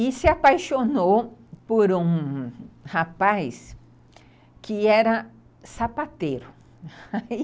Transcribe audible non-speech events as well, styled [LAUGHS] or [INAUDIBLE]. E se apaixonou por um rapaz que era sapateiro. [LAUGHS]